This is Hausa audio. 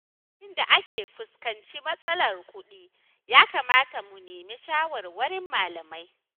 Lokacin da aka fuskanci matsalar kuɗi ya kamata mu nemi shawarwarin malamai